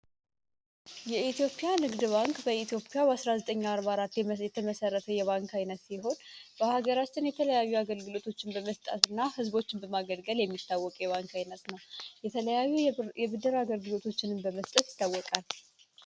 የኤትዮጵያ ንግድ ባንክ በኢትዮፒያ በ1944 የተመሰረፈው የባንክ ኃይነት ሲሆን በሀገራችን የተለያዩ አገልግሎቶችን በመስጣት እና ህዝቦችን በማገልገል የሚታወቅ የዋንክ ኃይነት ነው የለዩ የብድር አገልግሎቶችንም በመስለት ይታወቃል።